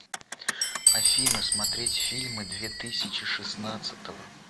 афина смотреть фильмы две тысячи шестнадцатого